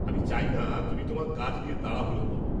আমি চাই না তুমি তোমার কাজ নিয়ে তাড়াহুড়ো কর।